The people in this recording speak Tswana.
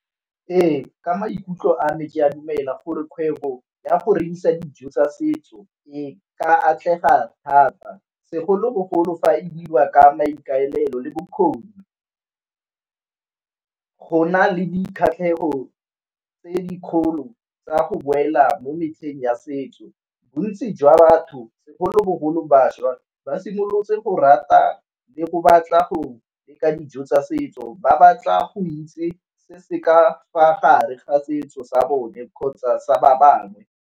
Ee ka maikutlo a me ke a dumela gore kgwebo ya go rekisa dijo tsa setso e ka atlega thata segolobogolo fa e dirwa ka maikaelelo le bokgoni, go na le dikgatlhegelo tse dikgolo tsa go boela mo metlheng ya setso. Bontsi jwa batho segolobogolo bašwa ba simolotse go rata le go batla go leka dijo tsa setso ba ba tla go itse se se ka fa gare ga setso sa bone kgotsa sa ba bangwe.